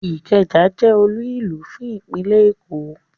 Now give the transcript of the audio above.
Ikeja je olúùlú fún ìpínlè Èkó